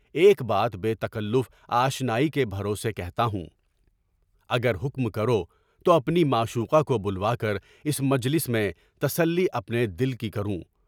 ایک بات بے تکلف آشنائی کے بھروسے کہتا ہوں، اگر حکم کرو تو اپنی معشوقہ کو بلوا کر اس مجلس میں تسلی اپنے دل کی کروں۔